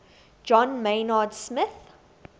john maynard smith